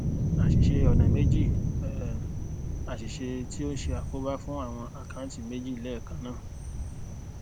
àsìse ọnà méjì um àṣìṣe tí o n ṣe àkóbá fún awọn akanti meji lẹ́ẹ̀kan naa